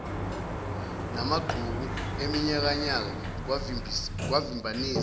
namagqubu eminyakanyaka kwavimbanisa